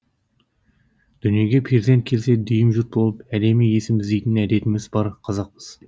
дүниеге перзент келсе дүйім жұрт болып әдемі есім іздейтін әдетіміз бар қазақпыз